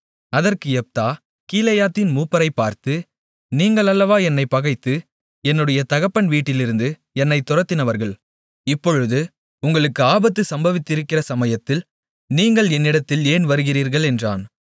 அதற்கு யெப்தா கீலேயாத்தின் மூப்பரைப் பார்த்து நீங்கள் அல்லவா என்னைப் பகைத்து என்னுடைய தகப்பன் வீட்டிலிருந்து என்னைத் துரத்தினவர்கள் இப்பொழுது உங்களுக்கு ஆபத்து சம்பவித்திருக்கிற சமயத்தில் நீங்கள் என்னிடத்தில் ஏன் வருகிறீர்கள் என்றான்